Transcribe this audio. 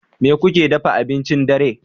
Me kuke dafa abincin dare?